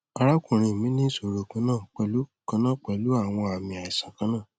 arakunrin mi ni iṣoro kanna pẹlu kanna pẹlu awọn aami aisan kanna